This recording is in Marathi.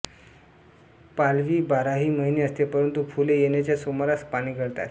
पालवी बाराही महिने असते परंतु फुले येण्याच्या सुमारास पाने गळतात